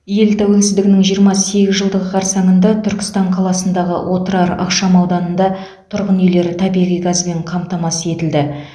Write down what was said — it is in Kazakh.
ел тәуелсіздігінің жиырма сегіз жылдығы қарсаңында түркістан қаласындағы отырар ықшамауданында тұрғын үйлер табиғи газбен қамтамасыз етілді